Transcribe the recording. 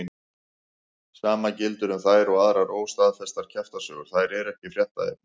Sama gildir um þær og aðrar óstaðfestar kjaftasögur, þær eru ekki fréttaefni.